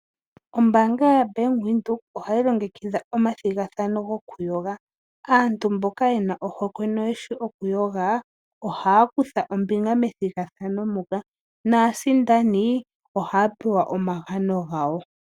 Ombaanga yabank Windhoek ohayi longekidha omathigathano goku yoga, aantu mboka yena ohokwe noeshi okuyoga ohaya kutha ombinga methigathano muka naasindani ohaya pewa omagano gawo.